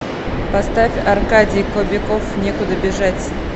поставь аркадий кобяков некуда бежать